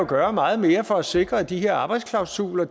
gøre meget mere for at sikre at de her arbejdsklausuler